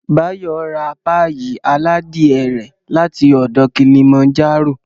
Báyọ̀ ra páyì aládìe rẹ̀ láti ọ̀dọ̀ Kilimanjaro